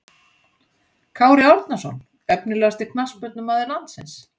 Kári Árnason Efnilegasti knattspyrnumaður landsins?